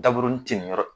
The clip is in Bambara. Daburunin tɛmɛn yɔrɔ